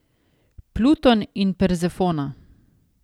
Pluton in Perzefona.